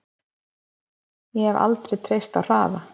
Ég hef aldrei treysta á hraða.